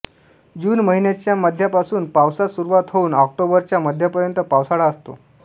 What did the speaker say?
जून महिन्याच्या मध्यापासून पावसास सुरूवात होऊन ऑक्टोबरच्या मध्यापर्यंत पावसाळा असतो